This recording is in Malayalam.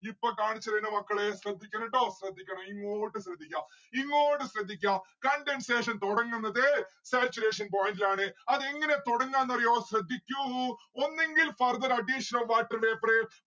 ഇപ്പൊ കാണിച്ചെരാം മക്കളെ ശ്രദ്ധിക്കണം ട്ടോ ശ്രദ്ധിക്കണം ഇങ്ങോട്ട് ശ്രദ്ധിക്ക ഇങ്ങോട്ട് ശ്രദ്ധിക്ക condensation തുടങ്ങുന്നത് saturation point ഇലാണ് അതെങ്ങനെ തുടങ്ങാന്ന് അറിയോ ശ്രദ്ധിക്കൂ ഒന്നുങ്കിൽ further addition of water vapour